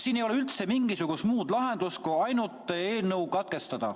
Siin ei ole üldse mingisugust muud lahendust kui ainult eelnõu lugemine katkestada.